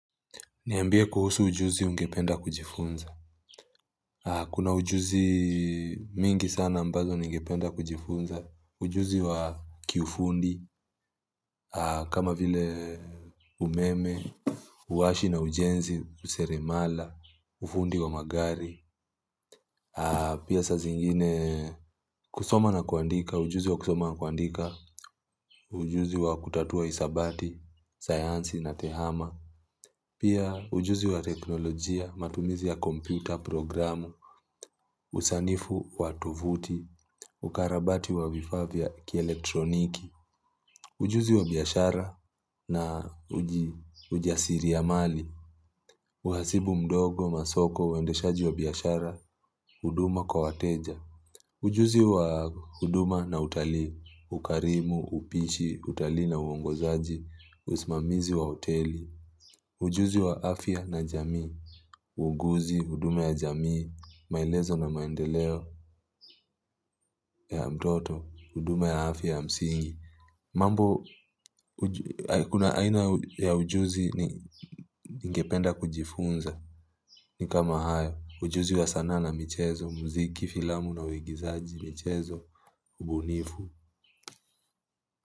Niambie kuhusu ujuzi ungependa kujifunza. Kuna ujuzi mingi sana ambazo ningependa kujifunza. Ujuzi wa kiufundi, kama vile umeme, uwashi na ujenzi kuseremala, ufundi wa magari. Pia saa zingine kusoma na kuandika, ujuzi wa kusoma na kuandika, ujuzi wa kutatua hisabati, sayansi na tehama. Pia ujuzi wa teknolojia, matumizi ya kompyuta, programu, usanifu, watofuti, ukarabati wa vifaa vya ki elektroniki, ujuzi wa biashara na ujasiri ya mali, uhasibu mdogo, masoko, uendeshaji wa biashara, huduma kwa wateja, ujuzi wa huduma na utalii, ukarimu, upishi, utalii na uongozaji, usimamizi wa hoteli, Ujuzi wa afya na jamii, uuguzi, huduma ya jamii, maelezo na maendeleo ya mtoto, huduma ya afya ya msingi. Mambo, kuna aina ya ujuzi ningependa kujifunza ni kama haya. Ujuzi wa sanaa na michezo, muziki, filamu na uigizaji, michezo, ubunifu.